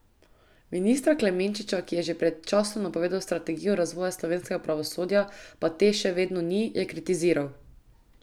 Ministra Klemenčiča, ki je že pred časom napovedal strategijo razvoja slovenskega pravosodja, pa te še vedno ni, je kritiziral.